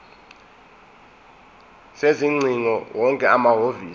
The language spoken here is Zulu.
sezingcingo wonke amahhovisi